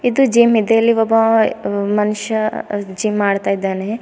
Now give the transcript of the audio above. ತ್ತು ಜಿಮ್ ಇದೆ ಇಲ್ಲಿ ಒಬ್ಬವ ಮನುಷ್ಯ ಜಿಮ್ ಮಾಡ್ತಾಯಿದಾನೆ.